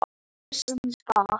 Nú eða aftur á bak!